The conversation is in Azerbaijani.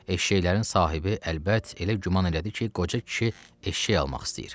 Eşşəklərin sahibi əlbət elə güman elədi ki, qoca kişi eşşək almaq istəyir.